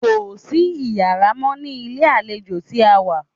Kò sí iyàrá mọ́ ní ilé àlejò tí a wá.